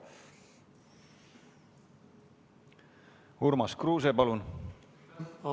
Urmas Kruuse, palun!